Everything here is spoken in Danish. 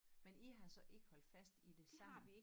Men i har så ikke holdt fast i det sammen